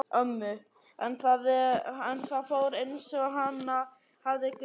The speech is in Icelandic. En það fór einsog hana hafði grunað.